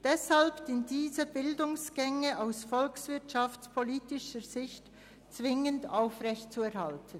Deshalb sind diese Bildungsgänge aus volkswirtschaftspolitischer Sicht zwingend aufrechtzuerhalten.